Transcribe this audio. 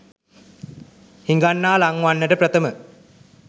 හිඟන්නා ලං වන්නට ප්‍රථම